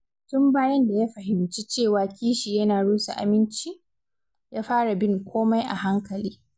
Tun bayan da ya fahimci cewa kishi yana rusa aminci, ya fara bin komai a hankali.